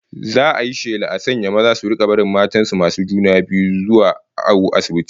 Za'a yi shela a sanya maza su rika barin matan masu juna biyu suna zuwa awo asibiti